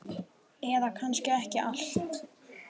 Eða kannski ekki allt.